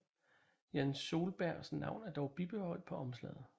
Jan Soelbergs navn er dog bibeholdt på omslaget